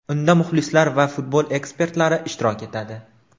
Unda muxlislar va futbol ekspertlari ishtirok etadi.